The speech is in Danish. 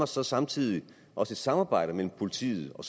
så samtidig også et samarbejde mellem politiet og